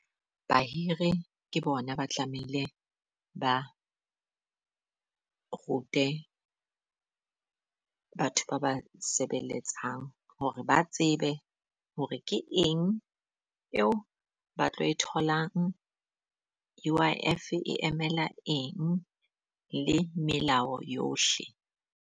Bahiri ke bona ba tlamehile ba rute batho ba ba sebeletsang hore ba tsebe hore ke eng eo ba tlo e tholang. U_I_F e emela eng le melao yohle?